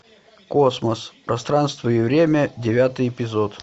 космос пространство и время девятый эпизод